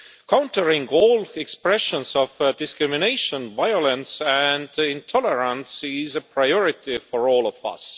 Countering all expressions of discrimination, violence and intolerance is a priority for all of us.